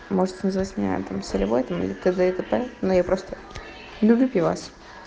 можете называть меня там солевой там или тд и тп но я просто люблю пивас